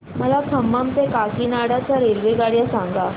मला खम्मम ते काकीनाडा च्या रेल्वेगाड्या सांगा